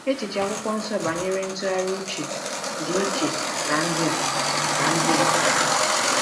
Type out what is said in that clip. Echiche Akwụkwọ Nsọ banyere ntụgharị uche dị iche na ndị a. na ndị a.